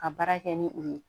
Ka baara kɛ ni o ye